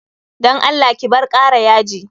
Dan Allah ki bar kara yaji.